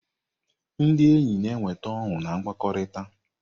Ndị enyi na-eweta ọṅụ na mkpakọrịta.